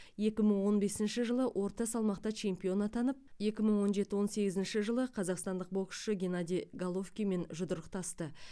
екі мың он бесінші жылы орта салмақта чемпион атанып екі мың он жеті он сегізінші жылы қазақстандық боксшы геннадий головкинмен жұдырықтасты